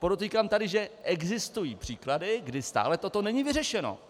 Podotýkám tady, že existují příklady, kdy stále toto není vyřešeno.